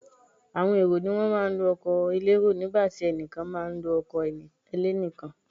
Àwọn èrò ni wọ́n má a ń lo ọkọ̀ elérò nígbàtí ẹnìkan má a nlo ọkọ̀ ẹlẹ́nìkan